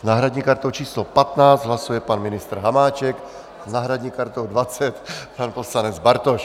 S náhradní kartou číslo 15 hlasuje pan ministr Hamáček, s náhradní kartou 20 pan poslanec Bartoš.